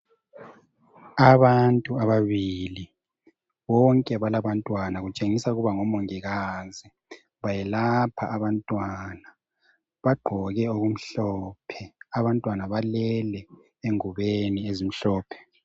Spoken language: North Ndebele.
Abantu ababili bonke balabantwana kutshengisa ukuba ngo Mongikazi. Bayelapha abantwana, bagqoke okumhlophe. Abantwana balele engubeni ezimhlophe.